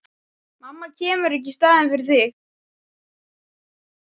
Mamma kemur ekki í staðinn fyrir þig.